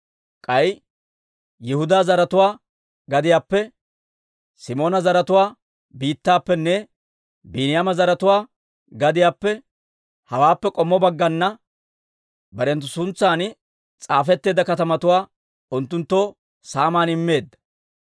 K'ay Yihudaa zaratuwaa gadiyaappe, Simoona zaratuwaa biittaappenne Biiniyaama zaratuwaa gadiyaappe, hawaappe k'ommo baggana barenttu suntsan s'aafetteedda katamatuwaa unttunttoo saaman immeedda.